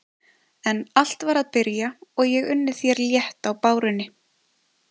En allt var að byrja og ég unni þér létt á bárunni.